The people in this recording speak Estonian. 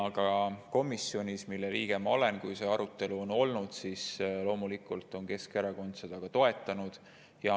Ka komisjonis, mille liige ma olen, on Keskerakond loomulikult seda ka toetanud, kui see arutelu on olnud.